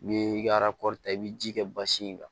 N'i ka ta i bɛ ji kɛ basi in kan